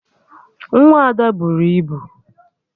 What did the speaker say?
Nwa Ada buru ibu